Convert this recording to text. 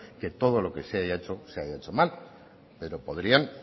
que todo lo que se haya hecho se haya hecho mal pero podrían